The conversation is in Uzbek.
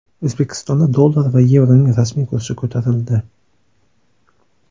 O‘zbekistonda dollar va yevroning rasmiy kursi ko‘tarildi.